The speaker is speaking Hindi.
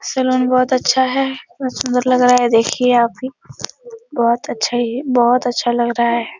सैलून बोहोत अच्छा है। बोहोत सुंदर लग रहा है। देखिये आप भी बोहोत अच्छा ही है। बोहोत अच्छा लग रहा है।